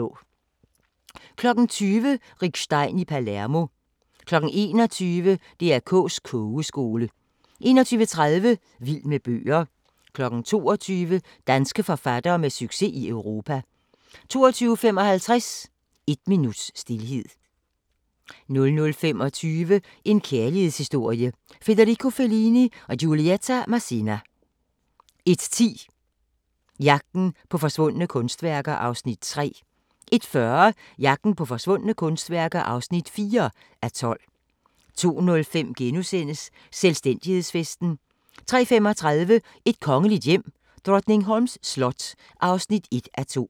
20:00: Rick Stein i Palermo 21:00: DR K's Kogeskole 21:30: Vild med bøger 22:00: Danske forfattere med succes i Europa 22:55: Et minuts stilhed 00:25: En kærlighedshistorie – Frederico Fellini & Giulietta Masina 01:10: Jagten på forsvundne kunstværker (3:12) 01:40: Jagten på forsvundne kunstværker (4:12) 02:05: Selvstændighedsfesten * 03:35: Et kongeligt hjem: Drottningholms slot (1:2)